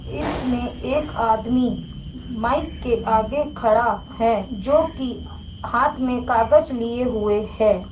इसमें एक आदमी माइक के आगे खड़ा है जोकि हाथ में कागच लिए हुए है।